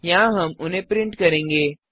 यहाँ हम उन्हें प्रिंट करेंगे